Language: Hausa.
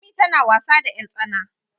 Lami tana wasa da yartsana